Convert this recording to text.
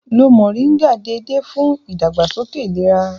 Lo Mọ̀ríngà déédéé fún ìdàgbàsókè ìlera